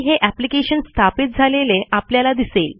हे एप्लिकेशन स्थापित झालेले आपल्याला दिसेल